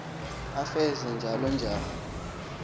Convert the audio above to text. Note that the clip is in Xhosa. efese njalo njalo